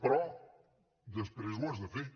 però després ho has de fer